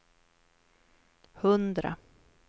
hundra